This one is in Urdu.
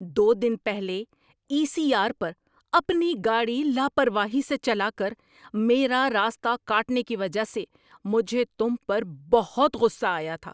دو دن پہلے ای سی آر پر اپنی گاڑی لاپرواہی سے چلا کر میرا راستہ کاٹنے کی وجہ سے مجھے تم پر بہت غصہ آیا تھا۔